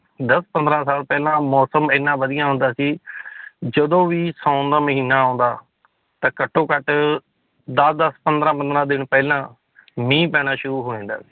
ਦਸ ਪੰਦਰਾਂ ਸਾਲ ਪਹਿਲਾਂ ਮੌਸਮ ਇੰਨਾ ਵਧੀਆ ਹੁੰਦਾ ਸੀ ਜਦੋਂ ਵੀ ਸਾਉਣ ਦਾ ਮਹੀਨਾ ਆਉਂਦਾ, ਤਾਂ ਘੱਟੋ ਘੱਟ ਦਸ ਦਸ ਪੰਦਰਾਂ ਪੰਦਰਾਂ ਦਿਨ ਪਹਿਲਾਂ ਮੀਂਹ ਪੈਣਾ ਸ਼ੁਰੂ ਹੋ ਜਾਂਦਾ